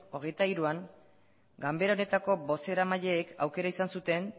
hogeita hiruan ganbera honetako bozeramaileek aukera izan zuten